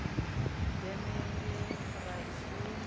deme ye ra i sumba